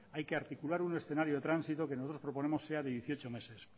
hay que articular un escenario de tránsito que nosotros proponemos sea de dieciocho meses